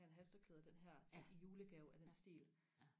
have et halstørklæde i den her i julegave af den stil